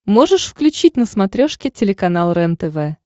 можешь включить на смотрешке телеканал рентв